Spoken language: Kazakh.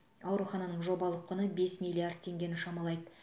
аурухананың жобалық құны бес миллиард теңгені шамалайды